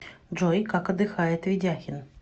джой как отдыхает ведяхин